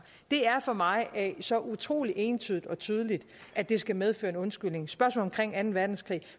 det er for mig så utrolig entydigt og tydeligt at det skal medføre en undskyldning spørgsmål omkring anden verdenskrig